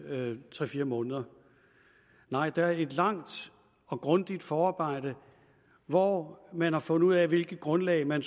tre fire måneder nej der er et langt og grundigt forarbejde hvor man har fundet ud af hvilket grundlag man